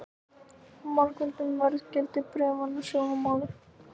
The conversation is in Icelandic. Margföldun á verðgildi bréfanna var í sjónmáli.